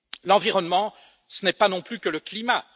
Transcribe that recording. L'environnement, ce n'est pas non plus que le climat.